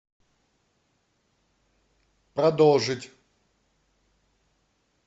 продолжить